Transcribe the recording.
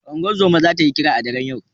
Unguzuma zata yi kira a daren yau